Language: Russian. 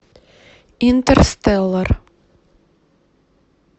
интерстеллар